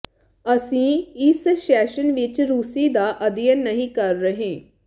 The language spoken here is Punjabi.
ਅਸੀਂ ਇਸ ਸੈਸ਼ਨ ਵਿੱਚ ਰੂਸੀ ਦਾ ਅਧਿਐਨ ਨਹੀਂ ਕਰ ਰਹੇ